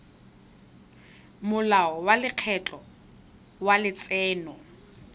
molao wa lekgetho wa letseno